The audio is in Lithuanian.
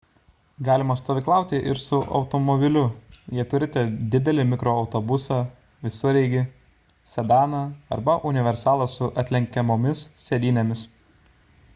galima stovyklauti ir su automobiliu jei turite didelį mikroautobusą visureigį sedaną arba universalą su atlenkiamomis sėdynėmis